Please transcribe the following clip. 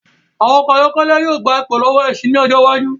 Àwọn ọkọ ayọ́kẹ́lẹ̀ yìí ó gbà pò lọ́wọ́ ẹṣin ín ọjọ́ iwájú